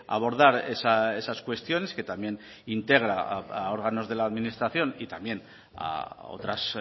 abordar esas cuestiones que también integra a órganos de la administración y también a otras